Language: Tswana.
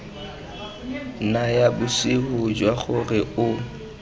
naya bosupi jwa gore o